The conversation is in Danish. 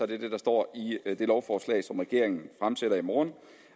det det der står i det lovforslag som regeringen fremsætter i morgen